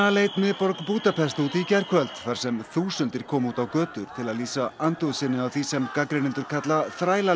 leit miðborg Búdapest út í gærkvöld þar sem þúsundir komu út götur til að lýsa andúð sinni á því sem gagnrýnendur kalla